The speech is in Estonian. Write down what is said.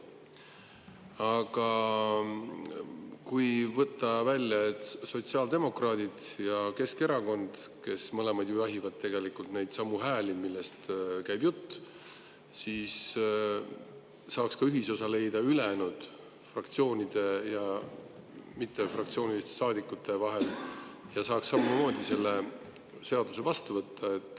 Aga kui võtta välja sotsiaaldemokraadid ja Keskerakond, kes mõlemad ju jahivad tegelikult neidsamu hääli, millest käib jutt, siis saaks ühisosa leida ülejäänud fraktsioonid ja fraktsioonitud saadikud ja saaks samamoodi selle seaduse vastu võtta.